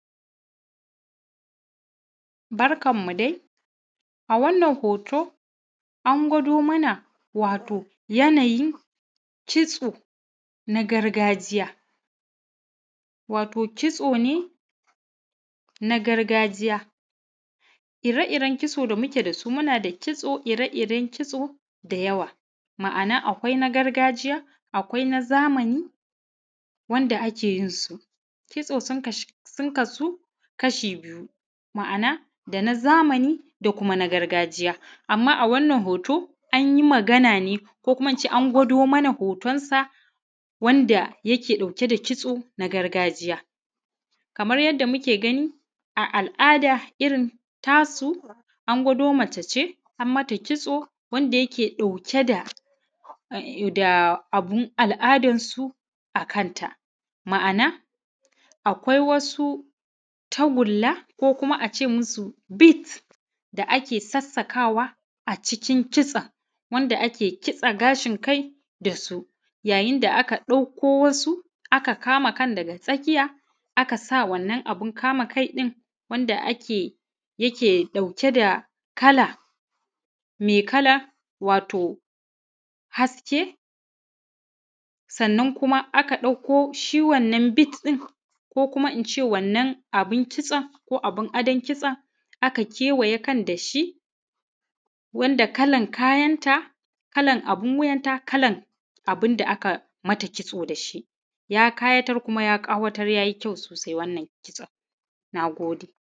Barkanmu dai, a wannan hoto an gwado mana wato yanayin kitso na gargajiya wato kitso ne na gargajiya, ire-iren kitso da muke da su muna da ire-iren kitso da yawa, ma’ana akwai na gargajiya, akwai na zamani wanda ake yin su kitso sun kasu kashi biyu, ma’ana da na zamani da na gargajiya amma a wannan hoto an yi magane ko kuma ince an gwado mana hoton sa wanda yake ɗauke da kitso na gargajiya, kamar yadda muke gani a al’ada irin tasu an gwado mace ce an mata kitso wanda yake ɗauke da abun al’adar su a kanta ma’ana akwai wasu tagulla ko kuma a ce musu bite da ake sassakawa a cikin kitson, wanda ake kitso gashin kai da su, yayin da aka dakko wasu aka kama kan daga tsakiya aka sa wannan abun kama kai ɗin wanda yake ɗauke da kala mai kala wato haske sannan kuma aka dakko shi wannan bite ɗin ko kuma ince wannan abin kitson ko abin adon kitson aka kewaye wannan kan da shi wanda kalan kayanta kalan abin wiyanta kalan abin da aka yi mata kitso da shi, ya kayatar kuma ya kawatar yayi kyau sosai wannan kitson.